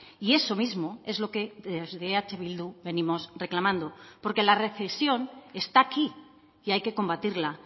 y eso mismo es lo que desde eh bildu venimos reclamando porque la recesión está aquí y hay que combatirla